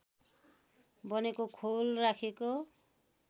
बनेको खोल राखिएको